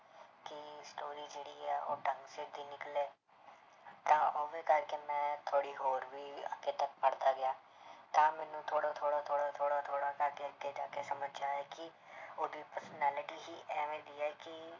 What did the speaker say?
ਤਾਂ ਕਰਕੇ ਮੈਂ ਥੋੜ੍ਹੀ ਹੋਰ ਵੀ ਅੱਗੇ ਤੱਕ ਪੜ੍ਹਦਾ ਗਿਆ ਤਾਂ ਮੈਨੂੰ ਥੋੜ੍ਹਾ-ਥੋੜ੍ਹਾ, ਥੋੜ੍ਹਾ-ਥੋੜ੍ਹਾ, ਥੋੜ੍ਹਾ ਕਰਕੇ ਅੱਗੇ ਜਾ ਕੇ ਸਮਝ 'ਚ ਆਇਆ ਕਿ ਉਹਦੀ personality ਹੀ ਇਵੇਂ ਦੀ ਹੈ ਕਿ